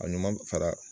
A ɲuman fara